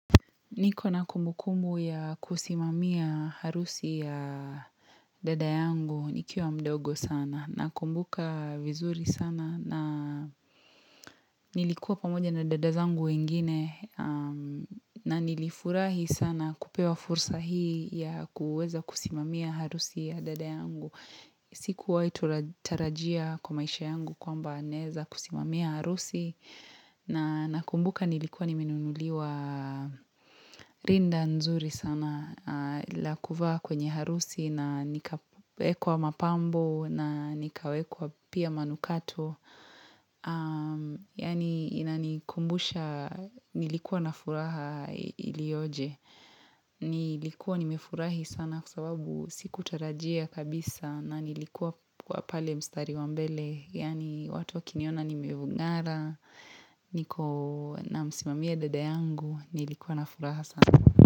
Niko na kumbukumu ya kusimamia harusi ya dada yangu nikiwa mdogo sana na kumbuka vizuri sana na nilikuwa pamoja na dadazangu wengine na nilifurahi sana kupewa fursa hii ya kuweza kusimamia harusi ya dada yangu. Siku waitu tarajia kwa maisha yangu kwa mba naweza kusimamia harusi na nakumbuka nilikuwa nimenunuliwa rinda nzuri sana la kuvaa kwenye harusi na nikawekwa mapambo na nikawekwa pia manukato. Yaani inani kumbusha nilikuwa na furaha ilioje nilikuwa nimefurahi sana kwa sababu siku tarajia kabisa na nilikuwa kwa pale mstari wambele yaani watu wa kiniona nimevungara niko na msimamia dada yangu nilikuwa na furaha sana.